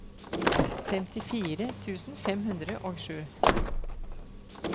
femtifire tusen fem hundre og sju